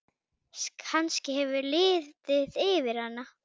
Kannski hefur liðið yfir hana?